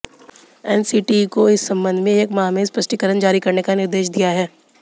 NCTE को इस संबंध में एक माह में स्पष्टीकरण जारी करने का निर्देश दिया है